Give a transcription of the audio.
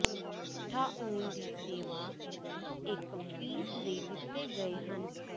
ਉਠਾਉਣ ਦੀ ਸੇਵਾ ਇੱਕ ਫੀਸ ਲਈ ਦਿੱਤੇ ਗਏ ਹਨ